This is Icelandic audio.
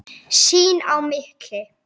Sín á milli.